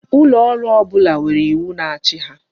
Ulooru ọbụla nwere iwu na-achị ha.